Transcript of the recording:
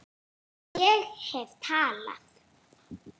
Ég hef talað